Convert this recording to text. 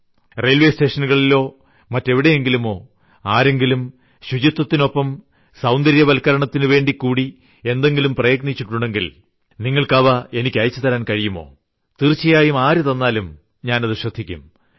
railway സ്റ്റേഷനുകളിലോ മറ്റെവിയെടെങ്കിലുമോ ആരെങ്കിലും ശുചിത്വത്തിനൊപ്പം സൌന്ദര്യവത്ക്കരണത്തിനുവേണ്ടികൂടി എന്തെങ്കിലും പ്രയത്നിച്ചിട്ടുണ്ടെങ്കിൽ നിങ്ങൾക്ക് അവ എനിക്ക് അയച്ചുതരാൻ കഴിയുമോ തീർച്ചയായും ആരു തന്നാലും ഞാൻ അതു ശ്രദ്ധിക്കും